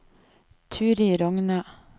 Turid Rogne